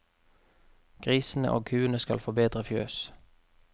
Grisene og kuene skal få bedre fjøs.